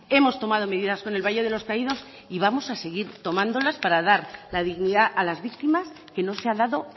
hemos tomado medidas con el valle de los caídos y vamos a seguir tomándolas para dar la dignidad a las víctimas que no se ha dado